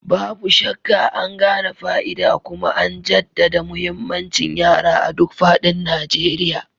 Babu shakka, an gane fa'ida kuma an jaddada muhimmancin yara a duk faɗin Najeriya.